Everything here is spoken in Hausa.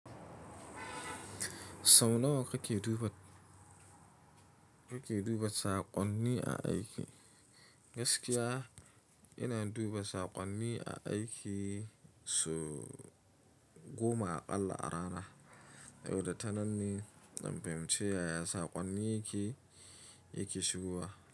Sau nawa kake duba, kake duba saƙonni a aiki? Gaskiya ina duba saƙonni a aiki sau goma aƙalla a rana. Yau da tananne zan fahimci yaya saƙonnin yake, yake shigowa.